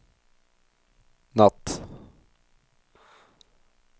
natt